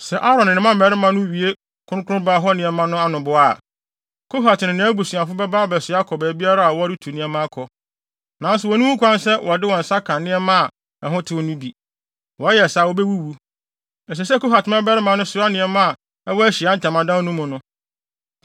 “Sɛ Aaron ne ne mma mmarima no wie kronkronbea hɔ nneɛma no anoboa a, Kohat ne nʼabusuafo bɛba abɛsoa akɔ baabiara a wɔretu nneɛma akɔ. Nanso wonni ho kwan sɛ wɔde wɔn nsa ka nneɛma a ɛho tew no bi. Wɔyɛ saa a, wobewuwu. Ɛsɛ sɛ Kohat mmabarima no soa nneɛma a ɛwɔ Ahyiae Ntamadan no mu no.